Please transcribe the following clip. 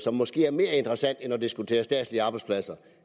er måske mere interessant end at diskutere statslige arbejdspladser